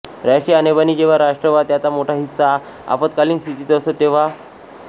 राष्ट्रीय आणीबाणी जेव्हा राष्ट्र वा त्याचा मोठा हिस्सा आपदकालीन स्थितीत असतो तेव्हा